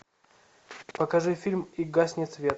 покажи фильм и гаснет свет